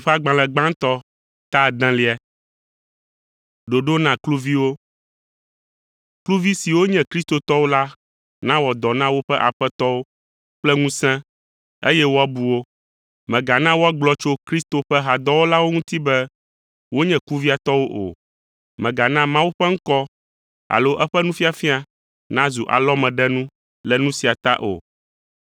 Kluvi siwo nye kristotɔwo la nawɔ dɔ na woƒe aƒetɔwo kple ŋusẽ, eye woabu wo; mègana woagblɔ tso Kristo ƒe hadɔwɔlawo ŋuti be wonye kuviatɔwo o. Mègana Mawu ƒe ŋkɔ alo eƒe nufiafia nazu alɔmeɖenu le nu sia ta o.